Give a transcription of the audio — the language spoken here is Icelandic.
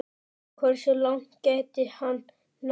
Hversu langt gæti hann náð?